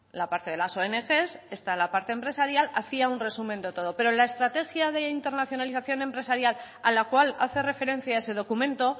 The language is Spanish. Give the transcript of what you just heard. la parte de las ong está la parte empresarial hacía un resumen de todo pero la estrategia de internacionalización empresarial a la cual hace referencia ese documento